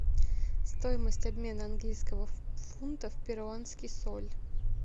стоимость обмена английского фунта в перуанский соль